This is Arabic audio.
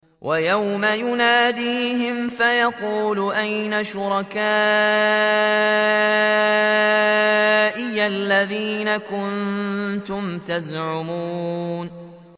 وَيَوْمَ يُنَادِيهِمْ فَيَقُولُ أَيْنَ شُرَكَائِيَ الَّذِينَ كُنتُمْ تَزْعُمُونَ